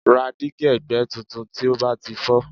Ra dígí ẹ̀gbẹ́ tuntun tí ó bá ti fọ́